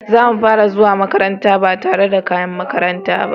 Zamu fara zuwa makaranta ba tare da kayan makaranta ba.